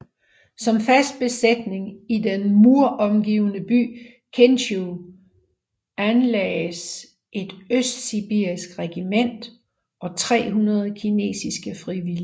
Som fast besætning i den muromgivne by Kintschou lagdes et østsibirisk regiment og 300 kinesiske frivillige